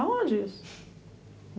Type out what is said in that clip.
Aonde isso?